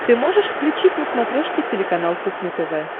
ты можешь включить на смотрешке телеканал кухня тв